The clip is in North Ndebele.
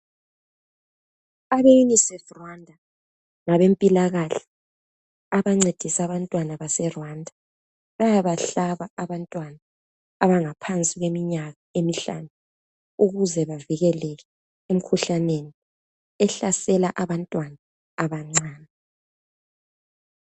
Abe UNICEF Rwanda ngabempilakahle abancedisa abantwana base Rwanda bayabahlaba abantwana abangaphansi kweminyaka emihlanu ukuze bavikeleke emkhuhlaneni ehlasela abantwana abancane.